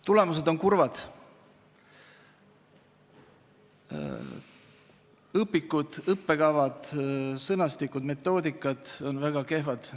Tulemused on kurvad: õpikud, õppekavad, sõnastikud, metoodikad on väga kehvad.